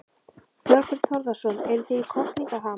Þorbjörn Þórðarson: Eruð þið í kosningaham?